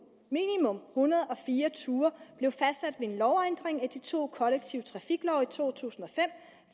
en hundrede og fire ture blev fastsat ved en lovændring af de to kollektive trafiklove i to tusind og fem